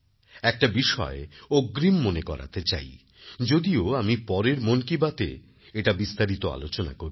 একটা বিষয় অগ্রিম মনে করাতে চাই যদিও আমি পরের মন কি বাতএ এটা বিস্তারিত আলোচনা করব